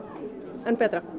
enn betra